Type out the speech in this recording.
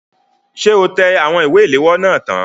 Ṣé o tẹ àwọn ìwé ilèwọ́ náà tán?